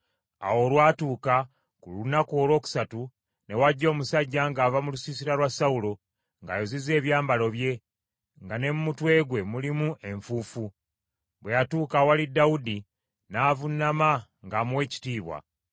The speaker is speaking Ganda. Awo olwatuuka ku lunaku olwokusatu, ne wajja omusajja ng’ava mu lusiisira lwa Sawulo, ng’ayuzizza ebyambalo bye, nga ne mu mutwe gwe mulimu enfuufu. Bwe yatuuka awali Dawudi, n’avuunama ng’amuwa ekitiibwa.